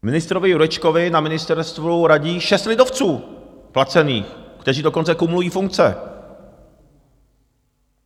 Ministrovi Jurečkovi na ministerstvu radí šest lidovců placených, kteří dokonce kumulují funkce.